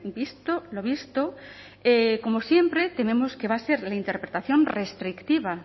visto lo visto como siempre tememos que va a ser la interpretación restrictiva